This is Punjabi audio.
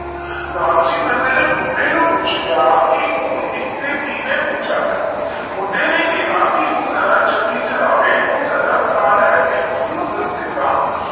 ਲਾਲਚੀ ਬੰਦੇ ਨੇਈ ਬੁੱਢੇ ਨੂੰ ਪੁੱਛਿਆ ਕਿ ਓ ਏਥੇ ਕਿਵੇ ਪੋਹਚਿਆ ਬੁੱਦੇ ਨੈ ਕਿਹਾ ਊ ਜਾਰਾ ਚੱਕੀ ਚਲਾਵੇ ਊ ਜਾਰਾ ਸਾਹ ਲੈ ਕੇ ਉਸਨੂ ਦਸੇਗਾ